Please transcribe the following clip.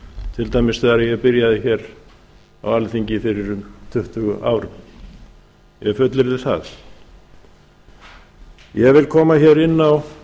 til dæmis þegar ég byrjaði hér á alþingi fyrir um tuttugu árum ég fullyrði það ég vil koma hér inn á